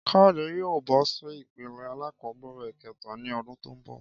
Káyòdé yóò bó sí ipele alákòóbèrè kéta ní odún tó n bò